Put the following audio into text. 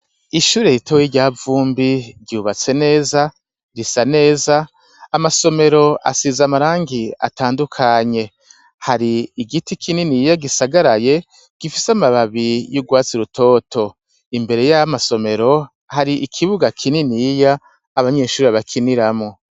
Ishuri ritoye iryavumbi ryubatse neza, risa neza, amasomero asiza amarangi atandukanye, hari igiti kinini yiya gisagaraye gifise amababi y'urwasi rutoto, imbere ya masomero hari ikibuga kinini yiya abanyeshuri bakiniramo.